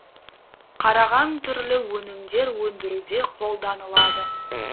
қараған түрлі өнімдер өндіруде қолданылады